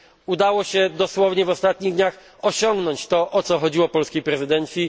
Udało się dosłownie w ostatnich dniach osiągnąć to, o co chodziło polskiej prezydencji.